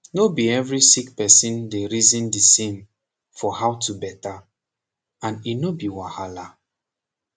no be everi sick person dey reason de same for how to beta and e no be wahala